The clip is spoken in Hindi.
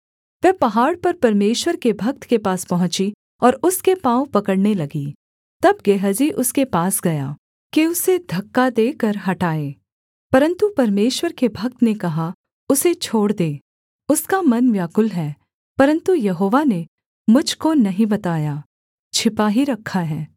वह पहाड़ पर परमेश्वर के भक्त के पास पहुँची और उसके पाँव पकड़ने लगी तब गेहजी उसके पास गया कि उसे धक्का देकर हटाए परन्तु परमेश्वर के भक्त ने कहा उसे छोड़ दे उसका मन व्याकुल है परन्तु यहोवा ने मुझ को नहीं बताया छिपा ही रखा है